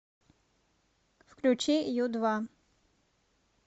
включи ю два